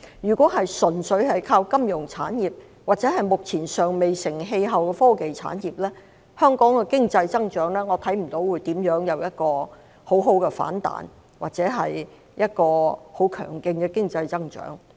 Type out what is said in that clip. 如果純粹靠金融產業或目前尚未成氣候的科技產業，我看不到香港的經濟增長會有很好的反彈或有很強勁的經濟增長。